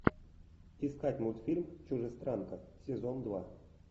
искать мультфильм чужестранка сезон два